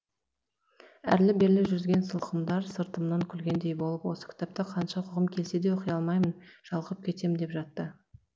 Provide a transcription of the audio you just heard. әрлі берлі жүрген сылқымдар сыртымнан күлгендей болып осы кітапты қанша оқығым келсе де оқи алмаймын жалығып кетем деп жатты